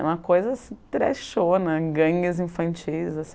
Uma coisa assim treshona, gangues infantis.